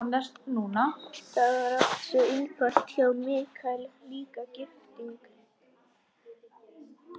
Það var allt svo einfalt hjá Michael, líka gifting.